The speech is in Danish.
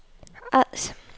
Ods